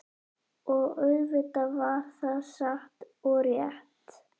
Og auðvitað var það satt og rétt.